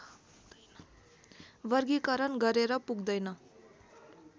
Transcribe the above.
वर्गीकरण गरेर पुग्दैन